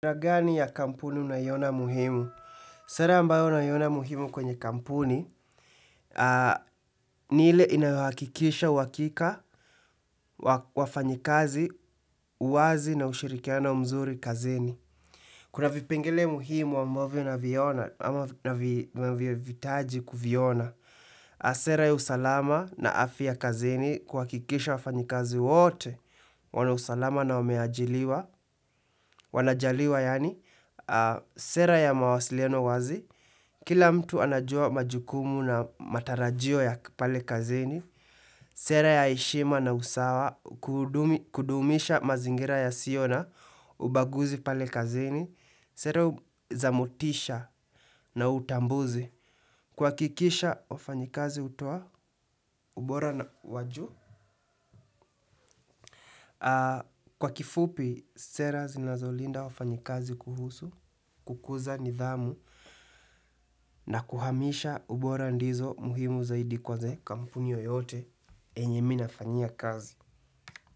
Sera gani ya kampuni unayo ona muhimu? Sera ambayo unaona muhimu kwenye kampuni ni ile inayo hakikisha wakika wa wafanyikazi uwazi na ushirikiana mzuri kazini. Kuna vipengele muhimu ambavyo unaviona ama vinahitaji kuviona. Sera ya usalama na afya kazini kuhakikisha wafanyikazi wote wana usalama na wameajiriwa wanajaliwa yani sera ya mawasiliano wazi. Kila mtu anajua majukumu na matarajio ya pale kazini. Sera ya heshima na usawa. Kudumisha mazingira yasio na ubaguzi pale kazeni. Sera za motisha na utambuzi. Kwa hakikisha wafanyikazi hutoa ubora na waju. Kwa kifupi sera zinazolinda wafanyikazi kuhusu kukuza nidhamu na kuhamisha ubora ndizo muhimu zaidi kwa za kampuni yote enye mimi nafanyia kazi.